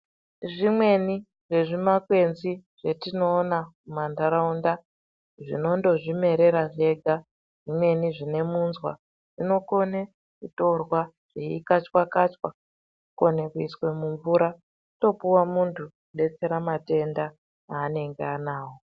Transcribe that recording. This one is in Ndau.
Zvimweni zvezvimakwenzi zvatinoona mumanharaunda zvinondozvimerera zvega zvimweni zvinemunzwa zvinokone kutorwa zveikatchwakatchwa kukone kuiswe mumvura wotopuwa munhu kudetsera matenda anenge anawo.